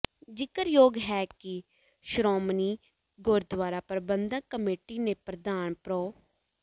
ਜ਼ਿਕਰਯੋਗ ਹੈ ਕਿ ਸ਼ੋ੍ਰਮਣੀ ਗੁਰਦੁਆਰਾ ਪ੍ਰਬੰਧਕ ਕਮੇਟੀ ਦੇ ਪ੍ਰਧਾਨ ਪ੍ਰੋ